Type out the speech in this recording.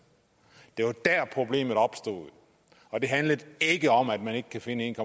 det var der problemet opstod og det handler ikke om at man ikke kan finde en